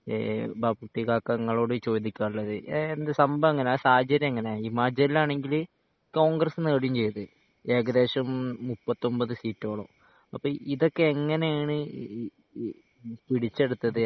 ഏഹ് ബാപ്പുട്ടിക്കാക ഇങ്ങളോട് ചോദിക്കാൻ ഉള്ളത് എഹ് എന്ത് സംഭവം എങ്ങിനെ ആ സാഹചര്യം എങ്ങിനെ ഹിമാചലിൽ ആണെങ്കിൽ കോൺഗ്രസ് നേടുകയും ചെയ്ത് ഏകദേശം മുപ്പത്തി ഒൻപത് സീറ്റോളം അപ്പൊ ഇതൊക്കെ എങ്ങിനെണ് പിടിച്ചെടുത്തത്